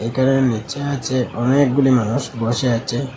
এখানে নোচা আছে অনেকগুলি মানুষ বসে আছে।